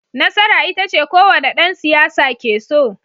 Nasara ita ce kowane dan siyasa ke so